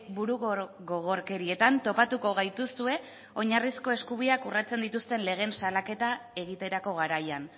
burugogorkerietan topatuko gaituzue oinarrizko eskubideak urratzen dituzten legeen salaketa egiterako garaian